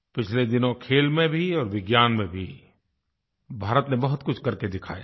पिछले दिनों खेल में भी और विज्ञान में भी भारत ने बहुतकुछ करके दिखाया है